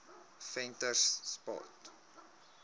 venterspost